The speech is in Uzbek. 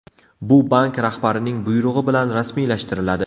Bu bank rahbarining buyrug‘i bilan rasmiylashtiriladi.